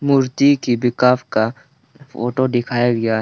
मूर्ति की विकाफ का फोटो दिखाया गया--